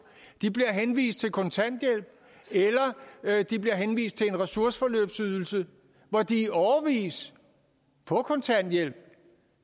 de bliver henvist til kontanthjælp eller de bliver henvist til en ressourceforløbsydelse hvor de i årevis på kontanthjælp